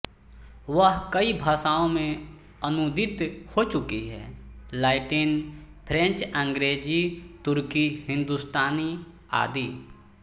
वह कई भाषाओं में अनूदित हो चुकी है लैटिन फ्रेंच अंग्रेजी तुर्की हिंदुस्तानी आदि